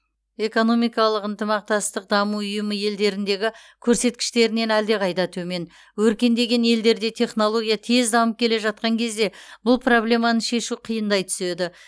экономикалық ынтымақтастық даму ұйымы елдеріндегі көрсеткіштерінен әлдеқайда төмен өркендеген елдерде технология тез дамып келе жатқан кезде бұл проблеманы шешу қиындай түседі